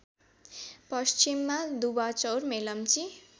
पश्चिममा दुवाचौर मेलम्ची